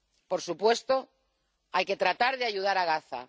Por supuesto, hay que tratar de ayudar a Gaza.